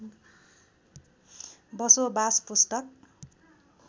बसोबास पुस्तक